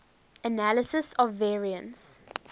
analysis of variance